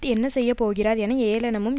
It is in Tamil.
என்னச் செய்ய போகிறார் என ஏளனமும்